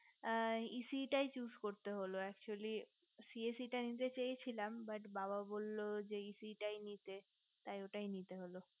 আ ec টাই choose করতে হলো actually cac টা নিতে চেয়েছিলাম but বাবা বললো যে ec টাই তাই ওটাই নিতে হলো